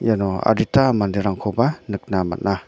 iano adita manderangkoba nikna man·a.